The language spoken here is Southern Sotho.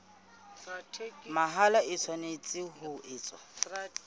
mahola e tshwanetse ho etswa